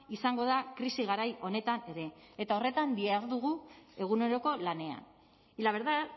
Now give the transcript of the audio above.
izango da krisi garai honetan ere eta horretan dihardugu eguneroko lanean y la verdad